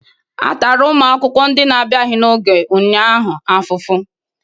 A tara ụmụ akwụkwọ ndị na-abịaghị n'oge ụnyaahụ afufu